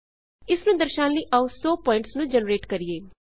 ਇਸ ਨੂੰ ਦਰਸ਼ਾਉਣ ਲਈ ਆਉ 100 ਪੁਆਇਂਟਸ ਨੂੰ ਜਨਰੇਟ ਕਰਿਏ